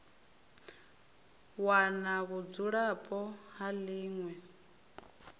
wana vhudzulapo ha ḽi ṅwe